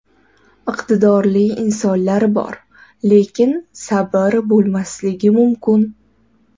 Iqtidorli insonlar bor, lekin sabr bo‘lmasligi mumkin.